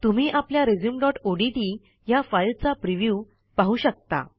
तुम्ही आपल्या resumeओडीटी ह्या फाईल चा प्रिव्ह्यू पाहू शकता